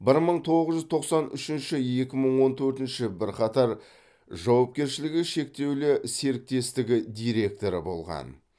бір мың тоғыз жүз тоқсан үшінші екі мың он төртінші бірқатар жауапкершілігі шектеулі серіктестігі директоры болған